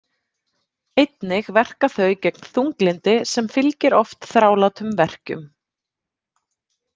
Einnig verka þau gegn þunglyndi sem fylgir oft þrálátum verkjum.